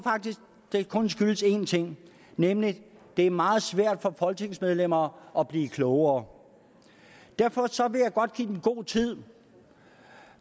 faktisk det kun skyldes en ting nemlig at det er meget svært for folketingsmedlemmer at blive klogere derfor vil jeg godt give dem god tid